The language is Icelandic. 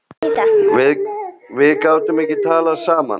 Við gátum ekki talað saman.